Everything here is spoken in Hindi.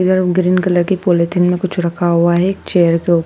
और ग्रीन कलर पॉलिथीन में कुछ रखा गया है। चेयर के ऊपर--